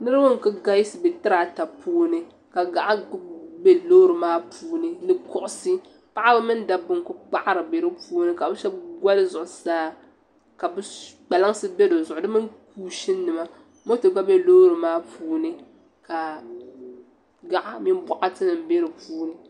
Niriba n-kuli galisi be tirata puuni ka ka gaɣa be loori maa puuni ni kuɣusi paɣiba mini dabba n-kuli kpaɣiri be di puuni ka bɛ so goli zuɣusaa ka kpalansi be di zuɣu di mini kuushininima moto gba be loori maa puuni ka gaɣa min boɣatinima be di puuni.